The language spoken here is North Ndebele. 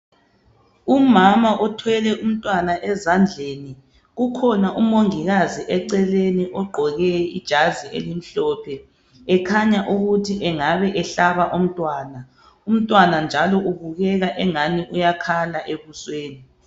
Umama othwele umntwana ezandleni ukhona umongikazi eceleni ogqoke ijazi elimhlophe ekhanya ukuthi engabe ehlaba umntwana . Umntwana njalo ubukeka engani uyakhala ebusweni.